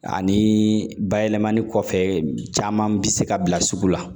Ani bayɛlɛmani kɔfɛ caman bɛ se ka bila sugu la